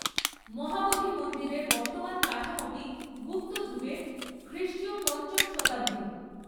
মহাবোধি মন্দিরের বর্তমান কাঠামোটি গুপ্ত যুগের, খ্রিষ্টীয় পঞ্চম শতাব্দীর।